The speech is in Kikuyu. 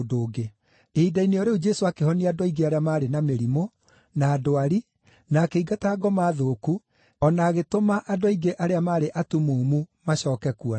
Ihinda-inĩ o rĩu Jesũ akĩhonia andũ aingĩ arĩa maarĩ na mĩrimũ, na ndwari, na akĩingata ngoma thũku o na agĩtũma andũ aingĩ arĩa maarĩ atumumu macooke kuona.